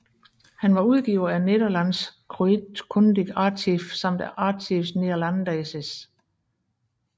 Han var udgiver af Nederlandsch kruitkundig Archief samt af Archives Néerlandaises